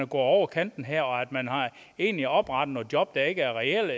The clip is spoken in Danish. over kanten her og egentlig har oprettet nogle job der ikke er reelle